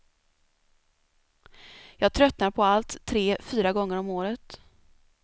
Jag tröttnar på allt tre, fyra gånger om året.